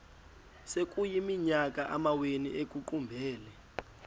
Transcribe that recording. sekuyiminyaka amawenu ekuqumbele